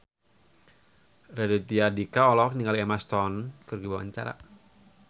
Raditya Dika olohok ningali Emma Stone keur diwawancara